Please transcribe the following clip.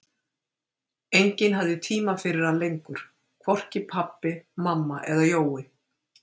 Enginn hafði tíma fyrir hann lengur, hvorki pabbi, mamma eða Jói.